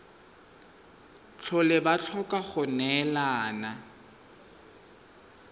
tlhole ba tlhoka go neelana